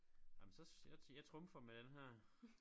Ah men så jeg jeg trumfer med denne her